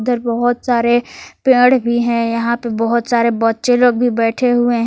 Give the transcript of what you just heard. इधर बहुत सारे पेड़ भी हैं यहां पर बहुत सारे बच्चे लोग भी बैठे हुए।